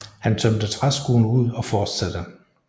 Han tømte træskoen ud og fortsatte